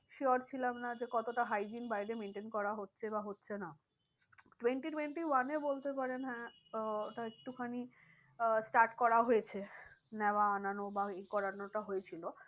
Sure ছিলাম না যে কতটা hygiene বাইরে maintain করা হচ্ছে বা হচ্ছে না। twenty twenty one এ বলতে পারেন হ্যাঁ আহ ওটা একটু খানি আহ start করা হয়েছে। নেওয়া আনানো বা এই করানোটা হয়েছিল।